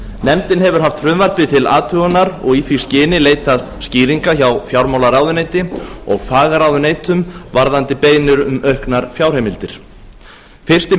nefndin hefur haft frumvarpið til athugunar og í því skyni leitað skýringa hjá fjármálaráðuneyti og fagráðuneytum varðandi beiðnir um auknar fjárheimildir fyrsti